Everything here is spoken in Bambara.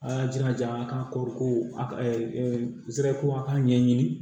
A y'a jira a ka koro ko a ka ko a ka ɲɛɲini